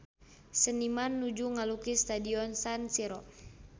Seniman nuju ngalukis Stadion San Siro